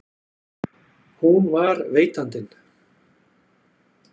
Hún var veitandinn.